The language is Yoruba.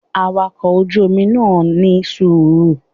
Awakọ̀ ojú Omi náà ní sùúrù